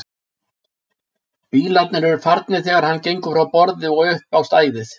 Bílarnir eru farnir þegar hann gengur frá borði og upp á stæðið.